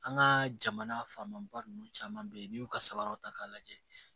An ka jamana faama ba ninnu caman bɛ ye n'i y'u ka sabaraw ta k'a lajɛ